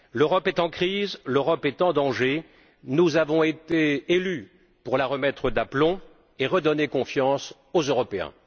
L'Europe est en crise, l'Europe est en danger, nous avons été élus pour la remettre d'aplomb et redonner confiance aux Européens.